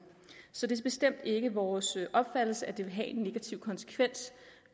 så det er bestemt ikke vores opfattelse at det vil have en negativ konsekvens